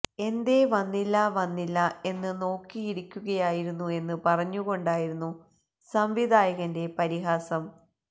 എന്തേ വന്നില്ല വന്നില്ല എന്ന് നോക്കിയിരിക്കുകയായിരുന്നു എന്ന് പറഞ്ഞുകൊണ്ടായിരുന്നു സംവിധായകന്റെ പരിഹാസം